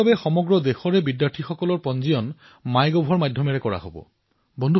দিল্লীৰ বাবে দেশৰ বিদ্যাৰ্থীসকলৰ বাচনি মাই গভৰ জৰিয়তে কৰা হব